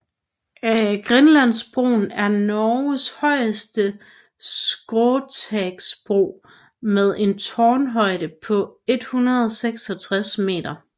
Grenlandsbroen er Norges højeste skråstagsbro med en tårnhøjde på 166 meter